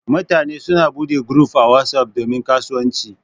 Mutane suna bude guruf a WhatsApp domin kasuwanci.